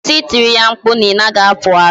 Kwụsị I tiri ya mkpu na ị naghị apụ ara